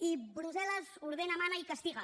i brussel·les ordena mana i castiga